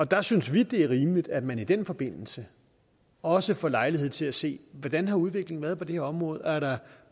der synes vi det er rimeligt at man i den forbindelse også får lejlighed til at se hvordan udviklingen har været på det her område er der